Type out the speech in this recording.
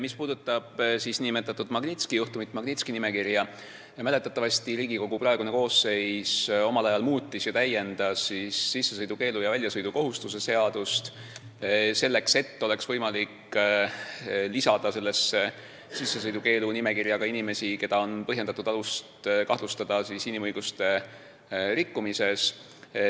Mis puudutab Magnitski juhtumit, Magnitski nimekirja, siis mäletatavasti Riigikogu praegune koosseis täiendas väljasõidukohustuse ja sissesõidukeelu seadust, et oleks võimalik lisada sissesõidukeelu nimekirja ka inimesi, kelle puhul on alust kahtlustada inimõiguste rikkumist.